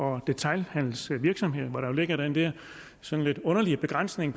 og detailhandelsvirksomheder hvor der jo ligger den der sådan lidt underlige begrænsning